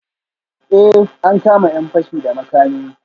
Eh, an kama ‘yan fashi da makami